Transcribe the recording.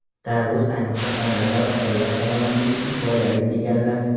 tarvuz ayniqsa homilador ayollar salomatligi uchun foydali, deganlar.